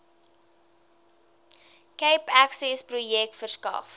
cape accessprojek verskaf